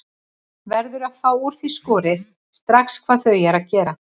Verður að fá úr því skorið strax hvað þau eru að gera.